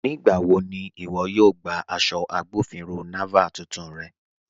Nígbàwọ̀ ni iwọ̀ yóò gbà aṣọ̀ Agbọ̀finrọ̀ Naval tuntun rẹ̀?